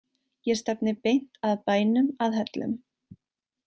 Ég stefni beint að bænum að Hellum.